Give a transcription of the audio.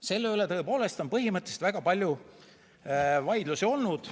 Selle üle on tõepoolest väga palju vaidlusi olnud.